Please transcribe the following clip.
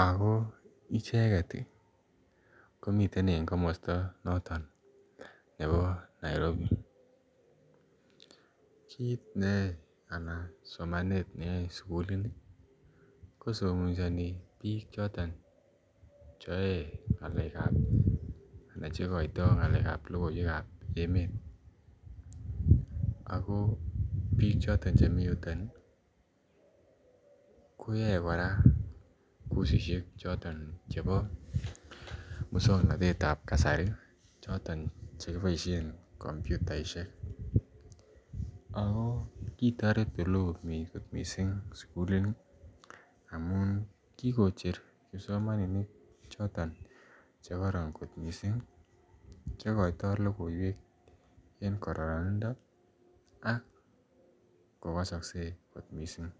ak ko miten en komosto noton nebo Nairobi, kiit neyoe anan somanet neyoe sukulini kosomesoni biik choton cheyoe ngalekab anan chekoito ngalekab lokoiwekab emet ak ko biik choton chemii yuton koyoe kora kosishek choton chebo muswoknotetab kasari choton chekiboishen kompyutaishek ak ko kikotoret eleo kot mising sukulini amun kikocher kipsomaninik chekoron kot mising chekoito lokoiwek en kororonindo ak kokosokse kot mising.